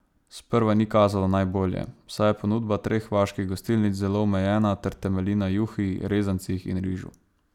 Sprva ni kazalo najbolje, saj je ponudba treh vaških gostilnic zelo omejena ter temelji na juhi, rezancih in rižu.